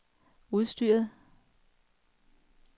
udstyret